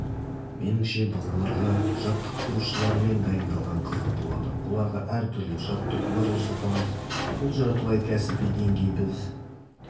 меніңше балаларға жаттықтырушылармен дайындалған қызық болады оларға әр түрлі жаттығулар жасатамыз бұл жартылай кәсіби деңгей біз